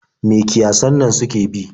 Me kiyasan nan suke bi?